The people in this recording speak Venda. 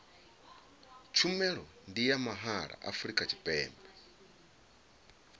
tshumelo ndi ya mahala afrika tshipembe